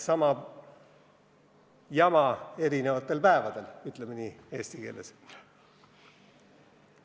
Sama jama erinevatel päevadel, ütleme siis eesti keeles sedasi.